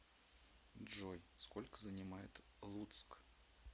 джой сколько занимает луцк